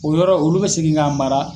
O yɔrɔ olu bɛ segin k'a mara.